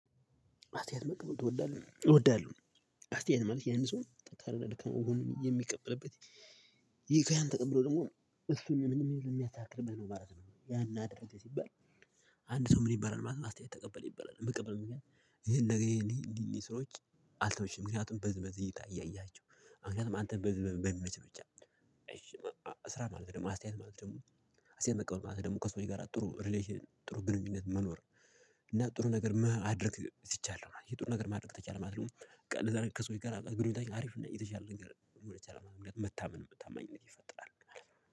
አስተያየት መቀበል ትወዳለህ እወዳለሁ አስተያየት ማለት ያን ሰው ጠንካራና ደካማ ጎን የሚቀበልበት ይሄ ከያን ተቀብሎ ደግሞ እሺ ሚል የሚያስተካክልበት ነው ማለት ነው። ያን አደረገ ሲባል አንድ ሰው ምን ይበላል ማለት ነው? አስተያየት ተቀበል ይበላል የሚቀበልበት ምክኒያት ይሄን ነገር ይሄን እይ እንዲህ እንዲህ ስራዎች አልተመቹኝም ምክንያቱም በዚበዚ እይታ እያያቸው አዎ ምክንያቱም አንተን በዚበዚ በሚመችህ ብቻ። እሺ ስራ ማለት ደግሞ አስተያየት ማለት ደግሞ አስተያየት መቀበል ማለት ደግሞ ከሰው ልጅ የጋራ ጥሩ ሪሌሽን ጥሩ ግንኙነት መኖር። እና ጥሩ ነገር ማድርግ ሲቻል ነው። የጥሩ ነገር ማድረግ ከተቻለ ማለት ነው። ለዛ ደግሞ ከሰው ልጅ ጋር ግንኙነታችን አሪፍ እና የተሻለ ነገር ሊሆን ይችላል ማለት ነው። መታመን ታማኝነት ይፈጥራል ማለት ነው።